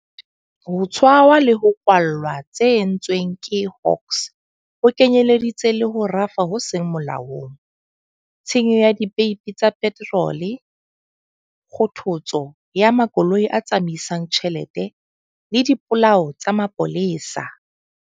Ho tshwarwa le ho kwallwa tse entsweng ke Hawks ho kenyeleditse le ho rafa ho seng molaong, tshenyo ya dipeipi tsa peterole, kgothotso ya makoloi a tsamaisang tjhelete le dipolao tsa mapolesa.